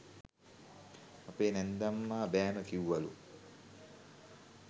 අපේ නැන්දම්මා බෑම කිව්වලු